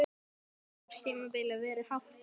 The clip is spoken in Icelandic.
Hvernig hefur undirbúningstímabilinu verið háttað?